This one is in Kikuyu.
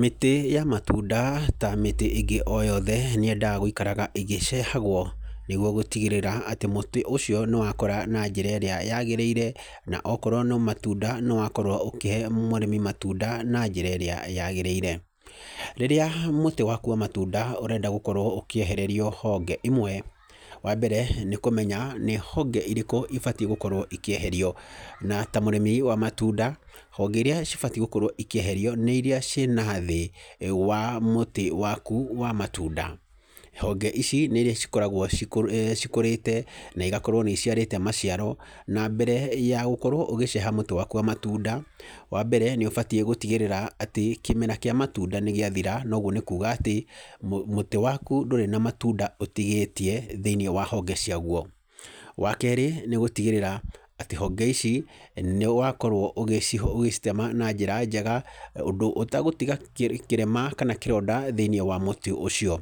Mĩtĩ ya matunda ta mĩtĩ ingĩ o yothe nĩ yendaga guikaraga ĩgĩcehagwo, nĩguo gũtigĩrĩra atĩ mũtĩ ũcio nĩ wakũra na njĩra ĩrĩa yagĩrĩire na okorwo nĩ matunda nĩ wakorwo ũkĩhe mũrĩmi matunda na njĩra ĩrĩa yaagĩrĩire. Rĩrĩa mũtĩ waku wa matunda ũrenda gũkorwo ukĩehererio honge imwe, wa mbere nĩ kũmenya nĩ honge irĩkũ ibatiĩ gũkorwo ikĩeherio. Na ta mũrĩmi wa matunda, honge iria cibatiĩ gũkorwo ikĩeherio nĩ iria ciĩ nathĩ wa mũtĩ waku wa matunda. Honge ici nĩ iria cikoragwo cikũrĩte na igakorwo nĩ iciarĩte maciaro, na mbere ya gũkorwo ũgĩceha mũtĩ waku wa matunda, wa mbere nĩ ũbatiĩ gũtigĩrĩra atĩ kĩmera kĩa matunda nĩ gĩathira na ũguo nĩ kuuga atĩ mũtĩ waku ndũrĩ na matunda ũtigĩtie thĩiniĩ wa honge ciaguo. Wa kerĩ nĩ gũtigĩrĩra atĩ honge ici nĩ wakorwo ũgĩcitema na njĩra njega, ũndũ ũtagũtiga kĩrema kana kĩronda thĩiniĩ wa mutĩ ũcio.